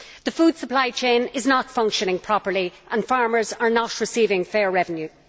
The food supply chain is not functioning properly and farmers are not receiving fair revenues.